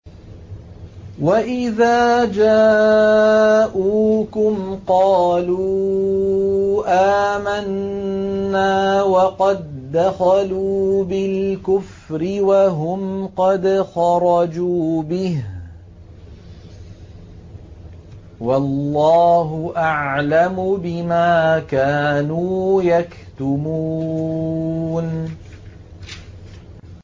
وَإِذَا جَاءُوكُمْ قَالُوا آمَنَّا وَقَد دَّخَلُوا بِالْكُفْرِ وَهُمْ قَدْ خَرَجُوا بِهِ ۚ وَاللَّهُ أَعْلَمُ بِمَا كَانُوا يَكْتُمُونَ